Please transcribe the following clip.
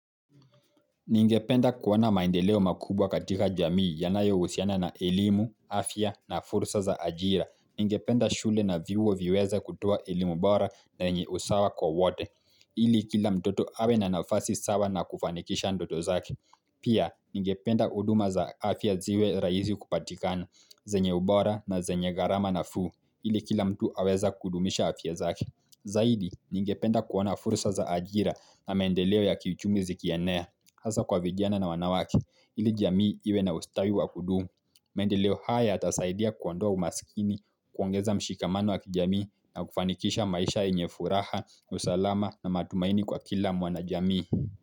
Ningependa kuona maendeleo makubwa katika jamii yanayo husiana na elimu, afya na fursa za ajira. Ningependa shule na vyuo viweza kutoa elimu bora na yenye iko sawa kwa wote. Ili kila mtoto awe na nafasi sawa na kufanikisha ndoto zake. Pia, ningependa huduma za afya ziwe rahisi kupatikana, zenye ubora na zenye gharama nafuu. Ili kila mtu aweza kudumisha afya zaki. Zaidi, ningependa kuona fursa za ajira na maendeleo ya kiuchumi zikiannea. Hasaa kwa vijana na wanawake ili jamii iwe na ustawi wa kudumu. Maendeleo yatasaidia kuondoa umaskini, kuongeza mshikamano wa kijamii na kufanikisha maisha yenye furaha, usalama na matumaini kwa kila mwanajamii.